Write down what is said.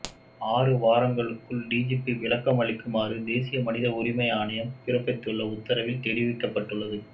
ஆறு வாரங்களுக்குள் டிஜிபி விளக்கமளிக்குமாறு தேசிய மனித உரிமை ஆணையம் பிறப்பித்துள்ள உத்தரவில் தெரிவிக்கப்பட்டுள்ளது